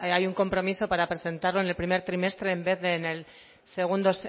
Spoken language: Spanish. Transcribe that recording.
hay un compromiso para presentarlo en el primer trimestre en vez de